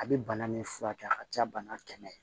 A bɛ bana min furakɛ a ka ca bana kɛmɛ